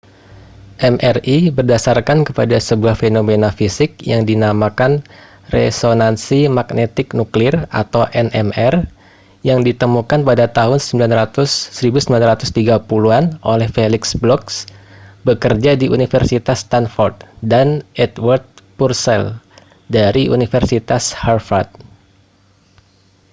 mri berdasarkan kepada sebuah fenomena fisik yang dinamakan resonansi magnetik nuklir nmr yang ditemukan pada tahun 1930-an oleh felix bloch bekerja di universitas stanford dan edward purcell dari universitas harvard